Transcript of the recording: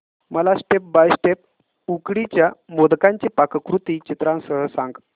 मला step by step उकडीच्या मोदकांची पाककृती चित्रांसह सांग